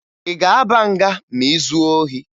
Ị ga-aba nga ma ị zuo ohi?